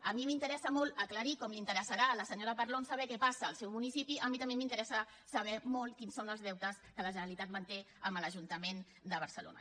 a mi m’interessa molt aclarir com li interessarà a la senyora parlon saber què passa al seu municipi a mi també m’interessa molt saber quins són els deutes que la generalitat manté amb l’ajuntament de barcelona